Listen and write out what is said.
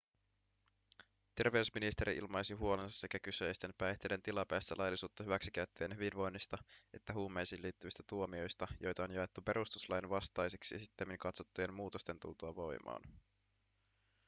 terveysministeri ilmaisi huolensa sekä kyseisten päihteiden tilapäistä laillisuutta hyväksikäyttävien hyvinvoinnista että huumeisiin liittyvistä tuomioista joita on jaettu perustuslain vastaisiksi sittemmin katsottujen muutosten tultua voimaan